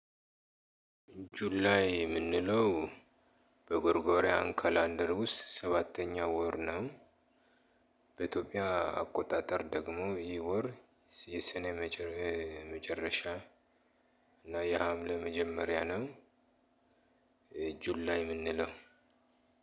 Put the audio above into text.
ጁላይ እምንለው በጎርጎሪያን ከላንደር ውስጥ ሰባተኛው ወር ነው። በኢትዮጵያ አቆጣጠር ደግሞ ይህ ወር የሰኔ መጨረሻ እና የሐምሌ መጀመሪያ ነው። ጁላይ እምንለው